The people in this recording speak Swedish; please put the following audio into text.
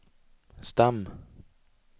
stam